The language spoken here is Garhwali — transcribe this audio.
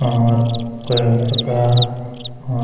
और कई प्रकार और --